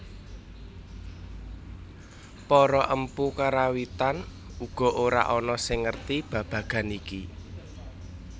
Para empu Karawitan uga ora ana sing ngerti babagan iki